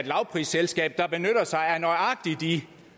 lavprisselskab der benytter sig af nøjagtig